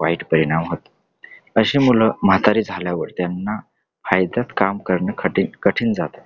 वाईट परिणाम होतो. अशी मुलं म्हातारी झाल्यावर त्यांना फायद्यात काम करणं कठीण जात .